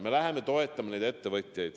Me hakkame toetama neid ettevõtjaid.